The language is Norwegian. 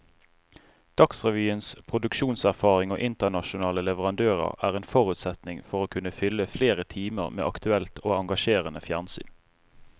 Dagsrevyens produksjonserfaring og internasjonale leverandører er en forutsetning for å kunne fylle flere timer med aktuelt og engasjerende fjernsyn.